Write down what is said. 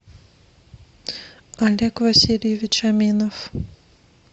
олег васильевич аминов